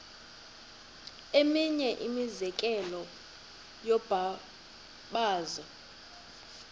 eminye imizekelo yombabazo